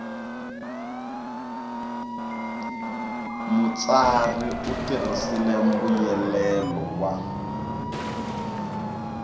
mutsari u tirhisile mbuyelelo wa